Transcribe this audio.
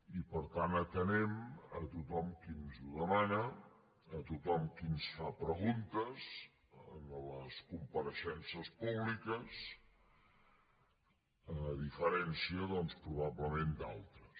i per tant atenem a tothom que ens ho demana a tothom que ens fa preguntes en les compareixences públiques a diferència doncs probablement d’altres